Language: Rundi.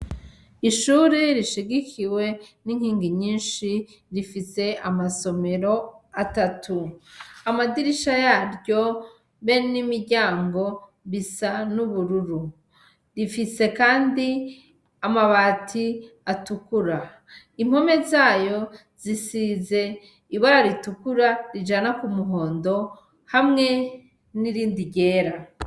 Ishuri rishigikiwe n'inkingi nyinshi rifise amasomero atatu, amadirisha yaryo be n'imiryango bisa n'ubururu, rifise kandi amabati atukura, impome zayo zisize ibara ritukura rijana ku muhondo hamwe n'irindi ryera.